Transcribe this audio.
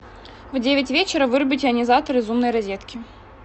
в девять вечера вырубить ионизатор из умной розетки